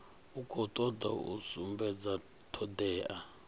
khou toda u sumbedza thodea